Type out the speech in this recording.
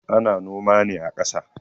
Ana noma ne a kasa